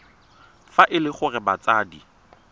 fa e le gore batsadi